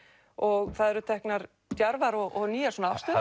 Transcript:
og það eru teknar djarfar og nýjar afstöður